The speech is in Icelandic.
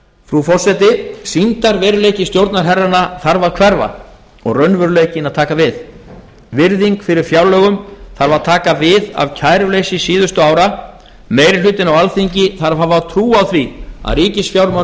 frú forseti sýndarveruleiki stjórnarherranna þarf að hverfa og raunveruleikinn að taka við virðing fyrir fjárlögum þarf að taka við af kæruleysi síðustu ára meiri hlutinn á alþingi þarf að hafa trú á því að ríkisfjármálin